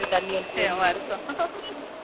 தண்ணி அடிச்சு வருஷம்